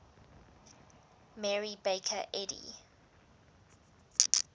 mary baker eddy